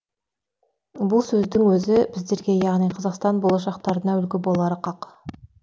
бұл сөздің өзі біздерге яғни қазақстан болашақтарына үлгі болары қақ